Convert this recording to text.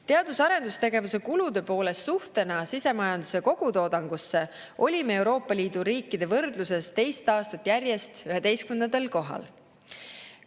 Teadus‑ ja arendustegevuse kulude poolest suhtena sisemajanduse kogutoodangusse olime Euroopa Liidu riikide võrdluses teist aastat järjest 11. kohal.